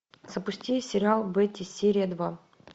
запусти сериал бетти серия два